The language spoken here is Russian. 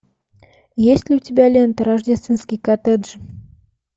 есть ли у тебя лента рождественский коттедж